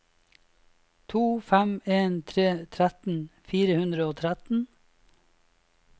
to fem en tre tretten fire hundre og tretten